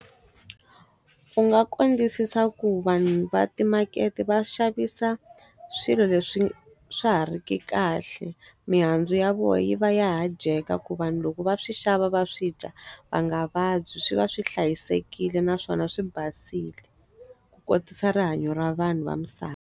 U nga ku kondzisisa ku vanhu va timakete va xavisa swilo leswi swi swa ha ri ki kahle. Mihandzu ya vona yi va ya ha dyeka ku vanhu loko va swi xava va swi dya va nga vabyi. Swi va swi hlayisekile naswona swi basile, ku kotisa rihanyo ra vanhu va misava.